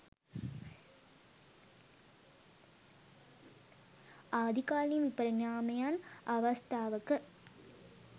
ආදී කාලින විපරිණාමයන් අවස්ථාවක